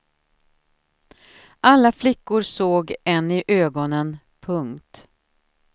Alla flickor såg en i ögonen. punkt